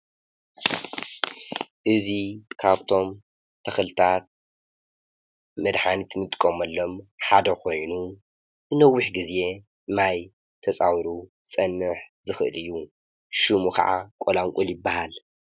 እዚ ካብቶም ተክሊታት መድሓኒታት ንጥቀመሎም ሓደ ኮይኑ ነዊሕ ግዜ ማይ ተፃዊሩ ክፀንሕ ዝክእል እዩ ።ሽሙ ከዓ ቆላቁል ይብሃል።